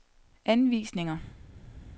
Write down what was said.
anvisninger